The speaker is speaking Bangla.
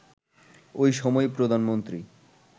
ওই সময়ই প্রধানমন্ত্রী